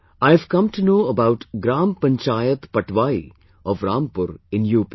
I have come to know about Gram Panchayat Patwai of Rampur in UP